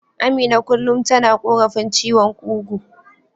Amina kullum tana korafin ciwon kugu.